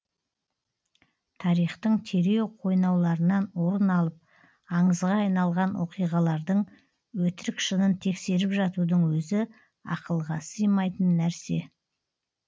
тарихтың терең қойнауларынан орын алып аңызға айналған оқиғалардың өтірік шынын тексеріп жатудың өзі ақылға сыймайтын нәрсе